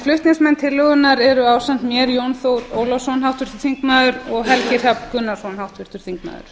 flutningsmenn tillögunnar eru ásamt mér jón þór ólafsson háttvirtur þingmaður og helgi hrafn gunnarsson háttvirtur þingmaður